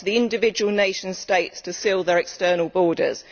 It is up to the individual nation states to seal their external borders.